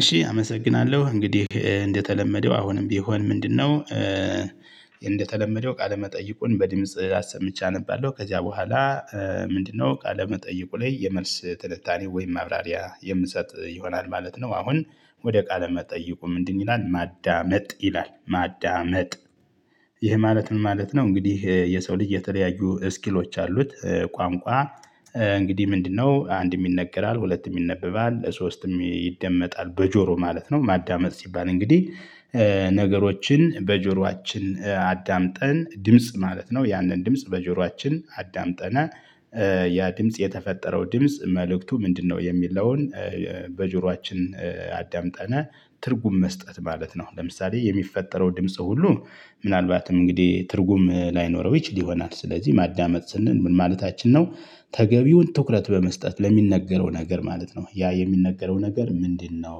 እሺ አመሰግናለው እንግዲህ እንደተለመደው አሁንም ቢሆን ምንድነው? እንደተለመደው ቃለመጠይቁን በድምጽ አሰምቼ አነባለው ከዚያ በኋላ ምንድነው ቃለመጠይቁ ላይ የመልስ ትልታኔ ወይም ማብራሪያ የምሰጥ ይሆናል ማለት ነው። አሁን ወደ ቃለ መጠይቁ ምንድን ይላል ማዳመጥ ይላል ማዳመጥ። ይህ ማለት ምን ማለት ነው? እንግዲህ የሰው ልጅ የተለያዩ ስኪሎች አሉት። ቋንቋ እንግዲህ ምንድነው አንድም ይነገራል ሁለት ይነበባል ለሶስትም ይደመጣል በጆሮ ማለት ነው። ማዳመጥ ሲባል እንግዲህ ነገሮችን በጆሮአችን አዳምጠን ድምጽ ማለት ነው ያንን ድምጽ በጆሮአችን አዳምጠን። ያ ድምጽ የተፈጠረው ድምጽ መልእክቱ ምንድነው የሚለውን? በጆሮአችን አዳምጠን ትርጉም መስጠት ማለት ነው። ለምሳሌ የሚፈጠረው ድምጽ ሁሉ ምናልባትም እንግዲህ ትርጉም ላይኖረው ይችል ይሆናል ስለዚህ ማዳመጥ ስንል ምን ማለታችን ነው? ተገቢውን ትኩረት በመስጠት ለሚነገረው ነገር ማለት ነው። ያ የሚነገረው ነገር ምንድነው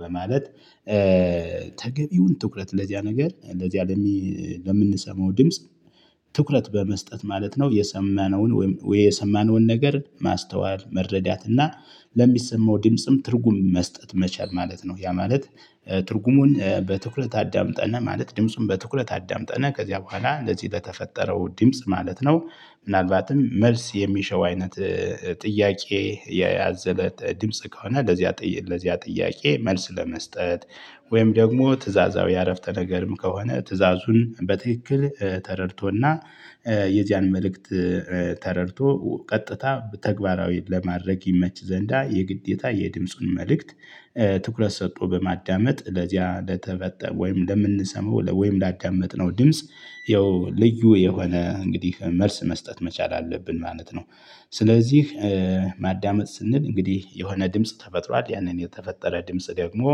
በማለት? ተገቢውን ትኩረት ለዚያ ነገር ለዚያ ለምንሰማው ድምጽ። ትኩረት በመስጠት ማለት ነው። የሰማነውን ወይም የሰማነውን ነገር ማስተዋል መረዳት እና ለሚሰማው ድምጽም ትርጉም መስጠት መቻል ማለት ነው። ያ ማለት። ትርጉሙን በትኩረት አዳምጠን ማለት ድምጹን በትኩረት አዳምጠን ከዚያ በኋላ እንደዚህ ለተፈጠረው ድምጽ ማለት ነው። ምናልባትም መልስ የሚሸው አይነት ጥያቄ የያዘለ ድምጽ ከሆነ ለዚያ ለዚያ ጥያቄ መልስ ለመስጠት። ወይም ደግሞ ትእዛዛዊ አረፍተ ነገርም ከሆነ ትእዛዙን በትክክል ተረድቶ እና የዚያን መልእክት ተረድቶ ቀጥታ ተግባራዊ ለማድረግ ይመች ዘንዳ የግዴታ የድምጹን መልእክት። ትኩረት ሰጥቶ በማዳመጥ ለዚያ ለተፈጠረ ወይም ለምንሰማው ወይም ላዳመጥነው ድምጽ ይኸው ልዩ የሆነ እንግዲህ መልስ መስጠት መቻል አለብን ማለት ነው። ስለዚህ ማዳመጥ ስንል እንግዲህ የሆነ ድምጽ ተፈጥሯል ያንን የተፈጠረ ድምጽ ደግሞ።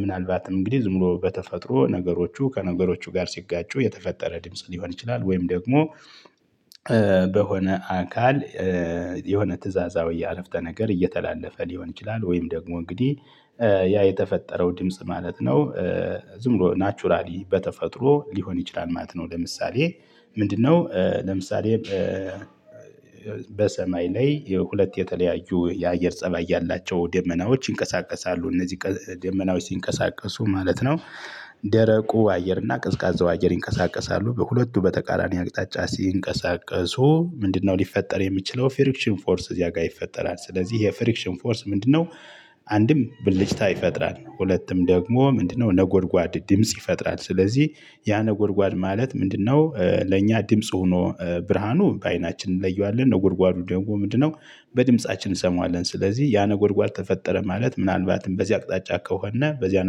ምናልባትም እንግዲህ ዝም ብሎ በተፈጥሮ ነገሮቹ ከነገሮቹ ጋር ሲጋጩ የተፈጠረ ድምጽ ሊሆን ይችላል። ወይም ደግሞ በሆነ አካል የሆነ ትእዛዛዊ የአረፍተ ነገር እየተላለፈ ሊሆን ይችላል። ወይም ደግሞ እንግዲህ ያ የተፈጠረው ድምጽ ማለት ነው። ዝም ብሎ ናቹራሊ በተፈጥሮ ሊሆን ይችላል ማለት ነው። ለምሳሌ ምንድነው ለምሳሌ? በሰማይ ላይ የሁለት የተለያዩ የአየር ፀባይ ያላቸው ደመናዎች ይንቀሳቀሳሉ እነዚህ ደመናዎች ሲንቀሳቀሱ ማለት ነው። ደረቁ አየር እና ቅዝቃዜው አየር ይንቀሳቀሳሉ በሁለቱ በተቃራኒ አቅጣጫ ሲንቀሳቀሱ ምንድነው ሊፈጠር የሚችለው ፍሪክሽን ፎርስ እዚያ ጋር ይፈጠራል ስለዚህ የፍሪክሽን ፎርስ ምንድነው? አንድም ብልጭታ ይፈጥራል ሁለቱም ደግሞ ምንድነው ነጎድጓድ ድምጽ ይፈጥራል። ስለዚህ ያ ነጎድጓድ ማለት ምንድነው? ለእኛ ድምጽ ሆኖ ብርሃኑ በአይናችን እንለየዋለን ነጎድጓዱ ደግሞ ምንድነው? በድምፃችን እሰማዋለን ስለዚህ ያነ ጎርጓር ተፈጠረ ማለት ምናልባትም በዚህ አቅጣጫ ከሆነ በዚያ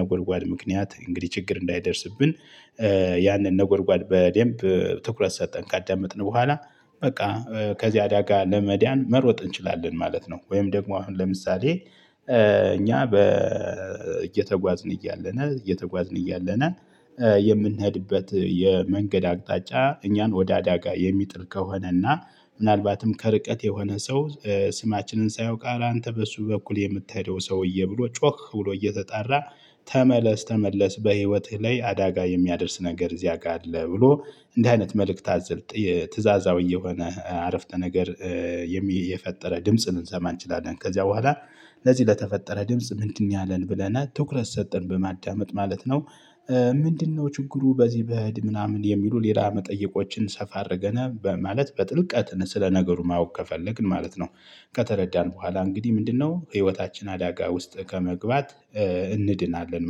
ነጎድጓድ ምክንያት እንግዲህ ችግር እንዳይደርስብን። ያንን ነጎርጓል በደንብ ትኩረት ሰጠተን ካዳመጥን በኋላ በቃ ከዚህ አዳጋ ለመዳን መሮጥ እንችላለን ማለት ነው። ወይም ደግሞ አሁን ለምሳሌ? እኛ እየተጓዝን እያለን እየተጓዝን እያለን የምንሄድበት የመንገድ አቅጣጫ እኛን ወደ አዳጋ የሚጥል ከሆነና ምናልባትም ከርቀት የሆነ ሰው ስማችንን ሳያውቅ አላንተ በሱ በኩል የምትሄደው ሰውዬ ብሎ ጮክ ብሎ እየተጣራ። ተመለስ ተመለስ በህይወትህ ላይ አዳጋ የሚያደርስ ነገር እዚያ ጋር አለ። ብሎ እንደዚህ አይነት መልእክት አዝል ትእዛዛዊ የሆነ አረፍተ ነገር። የፈጠረ ድምጽን ልንሰማ እንችላለን። ከዚያ በኋላ ለዚህ ለተፈጠረ ድምጽ ምንድነው ያለን ብለን ትኩረት ሰጠን በማዳመጥ ማለት ነው። ምንድነው ችግሩ? በዚህ ብሄድ ምናምን የሚሉ ሌላ መጠየቆችን ሰፋ አድርገን ማለት በጥልቀት ነው ስለ ነገሩ ማወቅ ከፈለግን ማለት ነው። ከተረዳን በኋላ እንግዲህ ምንድነው ህይወታችን አዳጋ ውስጥ ከመግባት እንድናለን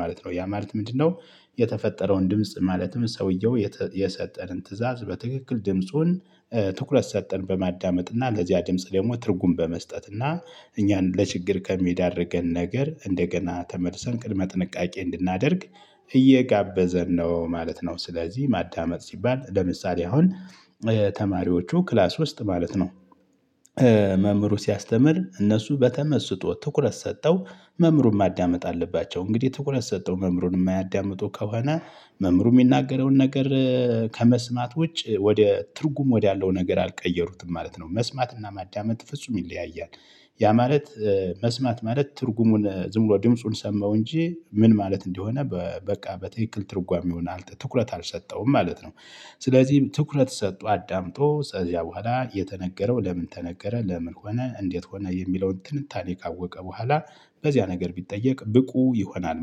ማለት ነው። ያ ማለት ምንድነው? የተፈጠረውን ድምጽ ማለትም ሰውየው የሰጠንን ትእዛዝ በትክክል ድምጹን ትኩረት ሰጠን በማዳመጥና ለዚያ ድምጽ ደግሞ ትርጉም በመስጠትና እኛን ለችግር ከሚያደርገን ነገር እንደገና ተመልሰን ቅድመ ጥንቃቄ እንድናደርግ እየጋበዘን ነው ማለት ነው። ስለዚህ ማዳመጥ ሲባል ለምሳሌ አሁን ተማሪዎቹ ክላስ ውስጥ ማለት ነው። መምህሩ ሲያስተምር እነሱ በተመስጦ ትኩረት ሰጥተው መምህሩን ማዳመጥ አለባቸው። እንግዲህ ትኩረት ሰጥተው መምህሩን የማያዳምጡ ከሆነ መምሩ የሚናገረውን ነገር። ከመስማት ውጭ ወደ ትርጉም ወደ አለው ነገር አልቀየሩትም ማለት ነው። መስማትና ማዳመጥ ፍጹም ይለያያል። ያ ማለት። መስማት ማለት ትርጉሙን ዝም ብሎ ድምፁን ሰማው እንጂ ምን ማለት እንደሆነ በቃ በትክክል ትርጓሜውን ትኩረት አልሰጠውም ማለት ነው። ስለዚህ ትኩረት ሰጥቶ አዳምጦ ከዚያ በኋላ የተነገረው ለምን? ተነገረ ለምን? ሆነ እንዴት? ሆነ የሚለውን ትንታኔ ካወቀ በኋላ በዚያ ነገር ቢጠየቅ ብቁ ይሆናል